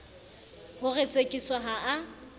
ho re tsekiso ha a